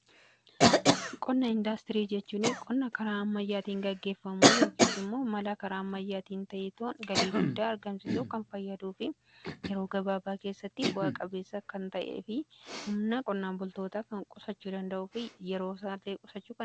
Qonna indaastirii jechuun qonna karaa amayyaatiin gaggeeffamu yookiin immoo mala karaa ammayyaatiin ta'ee galii guddaa argamsisuf kan fayyaduu fi yeroo gabaabaa keessatti bu'aa-qabeessa kan ta'ee fi humna qonnaan bultoota kan qusachuu danda'uudha.